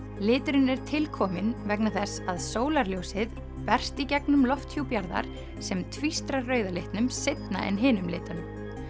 liturinn er til kominn vegna þess að sólarljósið berst í gegnum lofthjúp jarðar sem tvístrar rauða litnum seinna en hinum litunum